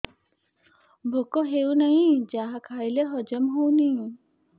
ଭୋକ ହେଉନାହିଁ ଯାହା ଖାଇଲେ ହଜମ ହଉନି